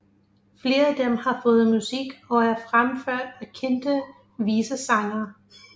Flere af dem har fået musik og er fremført af kendte visesangere